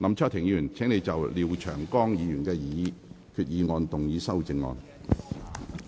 林卓廷議員，請就廖長江議員的擬議決議案動議修訂議案。